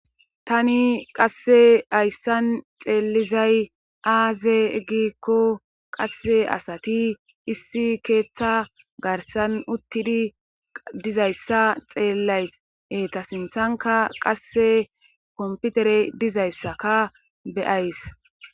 tani qasse hayssan xeelizay aaze gikko qasse asati issi keeththa garsan uttidi dizayssa xeellayse ta sinthanka qasse komputere dizayssaka beyays